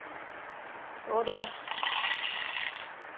ਓਹਦਾ